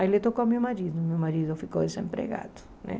Aí ele tocou meu marido, meu marido ficou desempregado, né?